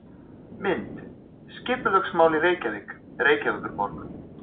Mynd: Skipulagsmál í Reykjavík Reykjavíkurborg.